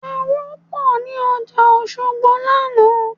Aró pọ̀ ní ọjà Òṣogbo lánàá